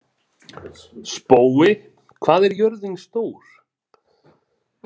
Spói, hvað er jörðin stór?